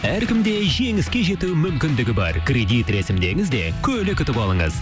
әркімде жеңіске жету мүмкіндігі бар кредит рәсімдеңіз де көлік ұтып алыңыз